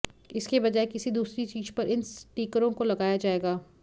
इसकी बजाय किसी दूसरी चीज पर इन स्टीकरों को लगाया जाएगा